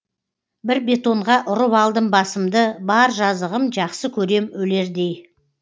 бір бетонға ұрып алдым басымды бар жазығым жақсы көрем өлердей